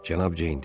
Cənab Ceyn dedi.